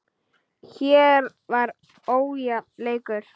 Hér var ójafn leikur.